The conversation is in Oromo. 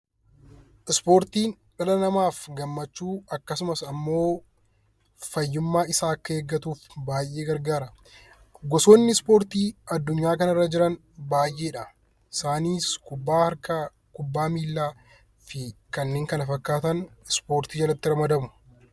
Ispoortiin dhala namaaf gammachuu akkasumas ammoo fayyummaa isaa akka eeggatuuf baay'ee gargaara. Gosoonni ispoortii addunyaa kanarra jiran baay'ee dha. Isaanis, kubbaa harkaa, kubbaa miilaa fi kanneen kana fakkaatan ispoortii jalatti ramadamu.